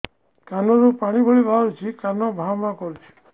କାନ ରୁ ପାଣି ଭଳି ବାହାରୁଛି କାନ ଭାଁ ଭାଁ କରୁଛି